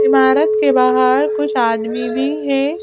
इमारत के बाहर कुछ आदमी भी है।